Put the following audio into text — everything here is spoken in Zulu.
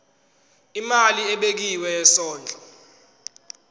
imali ebekiwe yesondlo